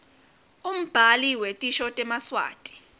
umbhali wetisho temaswati